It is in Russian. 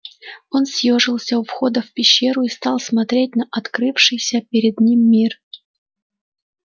он съёжился у входа в пещеру и стал смотреть на открывшийся перед ним мир